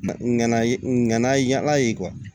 Ŋana ye n ŋana yala ye kuwa